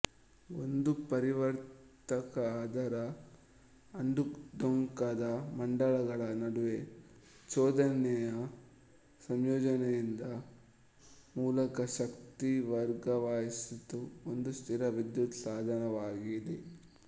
ಒಂದು ಪರಿವರ್ತಕ ಅದರ ಅಂಕುಡೊಂಕಾದ ಮಂಡಲಗಳ ನಡುವೆ ಚೋದನೆಯ ಸಂಯೋಜನೆಯಿಂದ ಮೂಲಕ ಶಕ್ತಿ ವರ್ಗಾಯಿಸುವ ಒಂದು ಸ್ಥಿರ ವಿದ್ಯುತ್ ಸಾಧನವಾಗಿದೆ